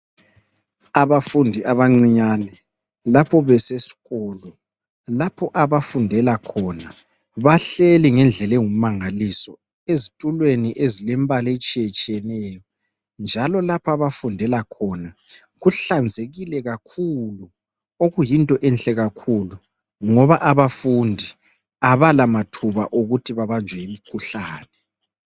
Abafundi abancinyane lapho besesikolo, lapho abafundela khona bahleli ngendlela engumangaliso ezitulweni ezilembala etshiyetshiyeneyo njalo lapha abafundela khona kuhlanzekile kakhulu. Okuyinto enhle kakhulu ngoba abafundi abalamathuba okuthi babanjwe yimikhuhlane.